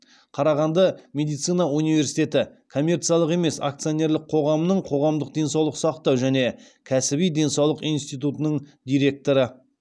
қарағанды медицина университеті коммерциялық емес акционерлік қоғамының қоғамдық денсаулық сақтау және кәсіби денсаулық институтының директоры